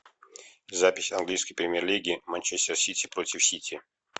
запись английской премьер лиги манчестер сити против сити